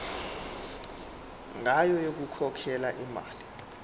ngayo yokukhokhela imali